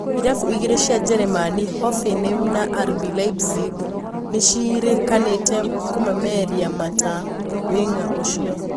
Irabu igiri cia Jeremani Hoffenheim na RB Leipzig nicierikanite kũmũmereria mata wing'a ũcio.